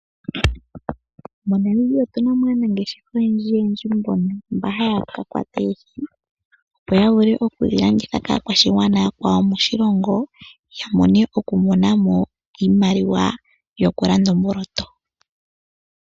MoNamibia otu na mo aanangeshefa oyendji mboka haya ka kwata oohi opo ya vule okudhilanditha kaakwashigwana yakwawo moshilongo ya vule ya mone mo iimaliwa yokulanda omboloto.